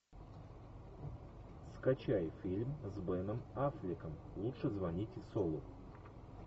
скачай фильм с беном аффлеком лучше звоните солу